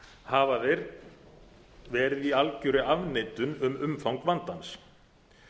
hafa þeir verið í algjörri afneitun um umfang vandans